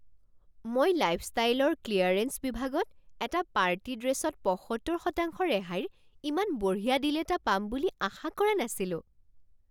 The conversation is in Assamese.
মই লাইফষ্টাইলৰ ক্লিয়াৰেন্স বিভাগত এটা পাৰ্টি ড্ৰেচত পঁসত্তৰশতাংশ ৰেহাইৰ ইমান বঢ়িয়া ডীল এটা পাম বুলি আশা কৰা নাছিলোঁ।